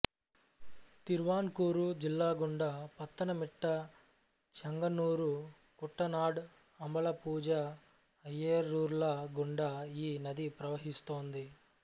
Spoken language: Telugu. తిరువాన్కూరు జిల్లాగుండా పత్తనమిట్ట చెంగన్నూరు కుట్టనాడ్ అంబలపూజ అయైరూర్ల గుండా ఈ నది ప్రవహిస్తోంది